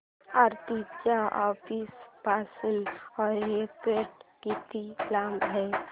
आरती च्या ऑफिस पासून एअरपोर्ट किती लांब आहे